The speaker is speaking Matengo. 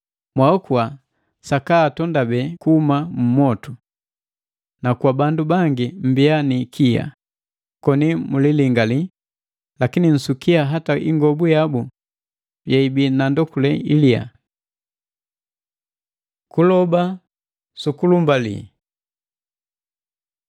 mwaokua sakaatondabe kuhuma mu mwotu. Na kwa bandu bangi mmbiya ni ikia koni mulilingali, lakini nsukia hata ingobu yabu yeibii na ndokule iliya. Kuloba sukulumbali